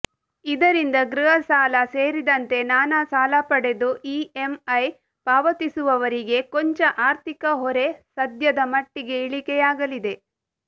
ಇದರಿಂದ ಗೃಹ ಸಾಲ ಸೇರಿದಂತೆ ನಾನಾ ಸಾಲ ಪಡೆದು ಇಎಂಐ ಪಾವತಿಸುವವರಿಗೆ ಕೊಂಚ ಆರ್ಥಿಕ ಹೊರೆ ಸದ್ಯದ ಮಟ್ಟಿಗೆ ಇಳಿಕೆಯಾಗಲಿದೆ